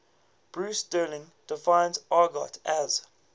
bruce sterling defines argot as